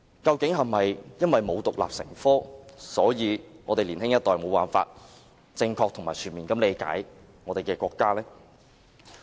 究竟是否因為中史沒有獨立成科，才導致年輕一代無法正確及全面理解國家？